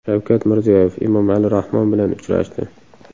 Shavkat Mirziyoyev Emomali Rahmon bilan uchrashdi.